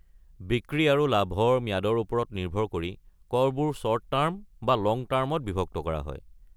বিক্ৰী আৰু লাভৰ ম্যাদৰ ওপৰত নিৰ্ভৰ কৰি, কৰবোৰ শ্বৰ্ট টাৰ্ম বা লং টাৰ্মত বিভক্ত কৰা হয়।